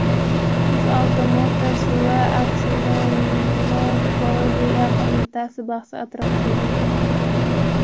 UzAuto Motors va Aksilmonopoliya qo‘mitasi bahsi atrofidagi muhokamalar.